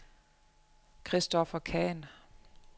Christoffer Khan